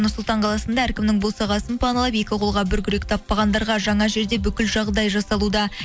нұр сұлтан қаласында әркімнің босағасын паналап екі қолға бір күрек таппағандарға жаңа жерде бүкіл жағдай жасалуда